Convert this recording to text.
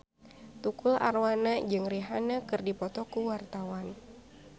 Tukul Arwana jeung Rihanna keur dipoto ku wartawan